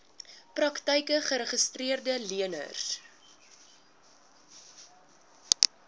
praktyke geregistreede leners